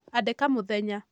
Andĩka mũthenya